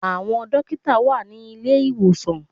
Àwọn dókítà wà ní ilé-ìwòsàn